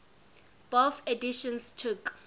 bofh editions took